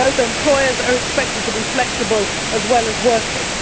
Employers are expected to flexible as well as workers.